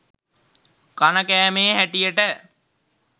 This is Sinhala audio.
කන කෑමේ හැටියට